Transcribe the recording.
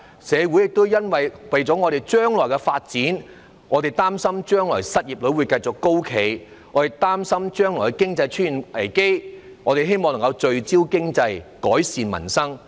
我們為了將來社會的發展，擔心將來失業率會繼續高企，也擔心將來經濟會出現危機，希望能夠聚焦經濟，改善民生。